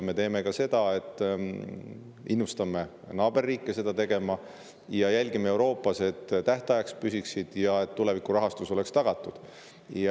Me innustame ka naaberriike seda tegema ja jälgime Euroopas, et püsitaks tähtaegade raames ja tulevikurahastus oleks tagatud.